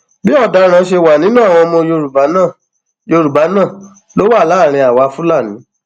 bí ọdaràn ṣe wà nínú àwọn ọmọ yorùbá náà yorùbá náà ló wà láàrin àwa fúlàní